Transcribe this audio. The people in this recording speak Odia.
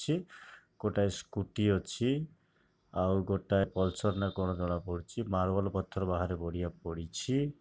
ଛି ଗୋଟାଏ ସ୍କୁଟି ଅଛି ଆଉ ଗୋଟାଏ ପଲ୍ସର୍ ନା କଣ ଜଣା ପଡୁଛି ମାର୍ବଲ ପଥର ବାହାରେ ବଢିଆ ପଡିଛି।